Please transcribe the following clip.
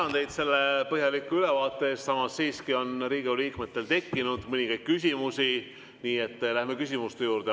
Ma tänan teid selle põhjaliku ülevaate eest, samas siiski on Riigikogu liikmetel tekkinud mõningaid küsimusi, nii et läheme küsimuste juurde.